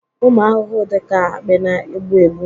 ụmụ ahụhụ dị ka akpị na-egbu egbu